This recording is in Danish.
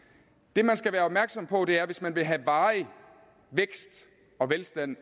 det man skal være opmærksom på er at hvis man vil have varig vækst og velstand